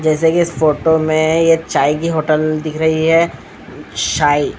जैसा कि इस फोटो में ये चाय की होटल दिख रही है चाय--